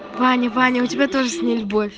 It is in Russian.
ваня ваня у тебя тоже с ней любовь